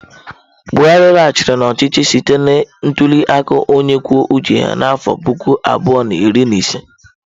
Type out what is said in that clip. Buhari laghachiri n'ọchịchị site na ntuli aka onye kwuo uche ya n'afọ puku abụọ na iri na ise.